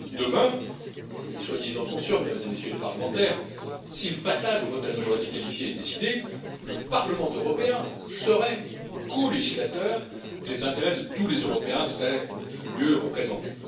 Demain, soyez en conscients, Mesdames et Messieurs les parlementaires, si le passage au vote à la majorité qualifiée était décidé, le Parlement européen serait colégislateur et les intérêts de tous les Européens seraient mieux représentés.